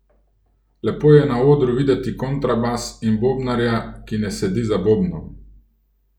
Lepo je na odru videti kontrabas in bobnarja, ki ne sedi za bobnom.